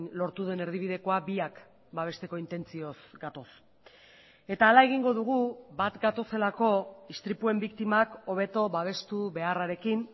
lortu den erdibidekoa biak babesteko intentzioz gatoz eta hala egingo dugu bat gatozelako istripuen biktimak hobeto babestu beharrarekin